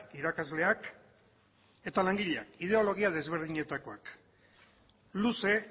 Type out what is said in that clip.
irakasleak eta langileak ideologia desberdinetakoak luze